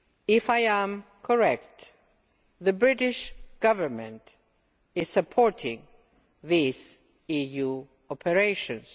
If I am correct, the British Government is supporting these EU operations.